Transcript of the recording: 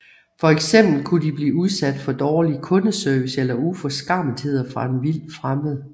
Fx kunne de blive udsat for dårlig kundeservice eller uforskammetheder fra en vildt fremmed